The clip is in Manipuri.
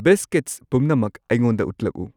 ꯕꯤꯁꯀꯤꯠꯁ ꯄꯨꯝꯅꯃꯛ ꯑꯩꯉꯣꯟꯗ ꯎꯠꯂꯛꯎ꯫